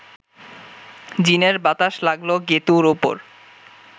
জিনের বাতাস লাগল গেঁতুর ওপর